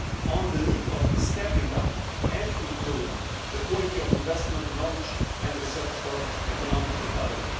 on the need for stepping up and improving the quality of investment in knowledge and research for economic recovery.